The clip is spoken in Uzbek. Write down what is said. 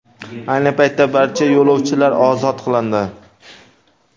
Ayni paytda barcha yo‘lovchilar ozod qilindi .